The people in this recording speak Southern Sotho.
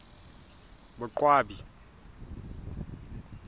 boqwabi